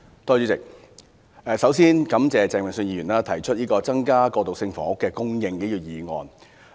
主席，首先感謝鄭泳舜議員提出"增加過渡性房屋供應"議案。